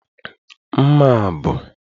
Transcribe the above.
Mma a bụ